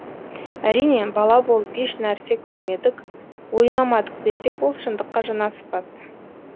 әрине бала болып еш нәрсе көрмедік ойнамадық десек ол шындыққа жанаспас